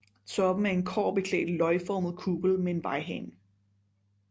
Toppen er en kobberbeklædt løgformet kuppel med en vejrhane